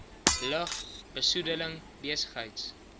lug besoedeling besigheids